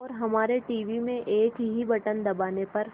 और हमारे टीवी में एक ही बटन दबाने पर